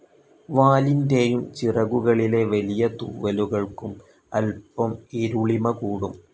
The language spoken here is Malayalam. വാലിന്റേയും ചിറകുകളിലെ വലിയ തൂവലുകൾക്കും അല്പം ഇരുളിമ കൂടും.